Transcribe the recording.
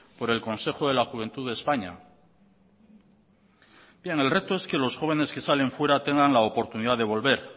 por el consejo de la juventud de españa bien el reto es que los jóvenes que salen fuera tengan la oportunidad de volver